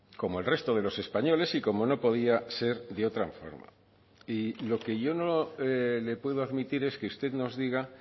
como el resto de los españoles y como no podía ser de otra forma y lo que yo no le puedo admitir es que usted nos diga